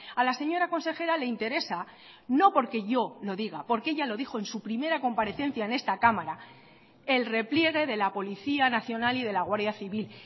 a la señora consejera le interesa no porque yo lo diga porque ella lo dijo en su primera comparecencia en esta cámara el repliegue de la policía nacional y de la guardia civil